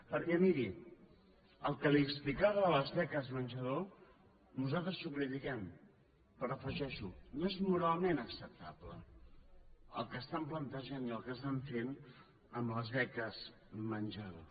perquè miri el que li explicava de les beques menjador nosaltres ho critiquem però afegeixo no és moralment acceptable el que estan plantejant i el que estan fent amb les beques menjador